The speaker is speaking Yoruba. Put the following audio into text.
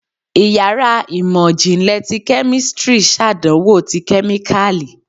Íyarà imọ jinlẹ tí kemistri ṣàdánwò tí kemíkalí